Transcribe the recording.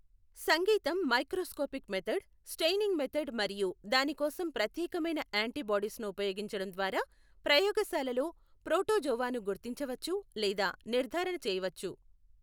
సంగీతం microscopic method, staining method మరియు దాని కోసం ప్రత్యేకమైన యాంటీబాడీస్ను ఉపయోగించడం ద్వారా ప్రయోగశాలలో ప్రోటోజోవాను గుర్తించవచ్చు లేదా నిర్ధారణ చేయవచ్చు.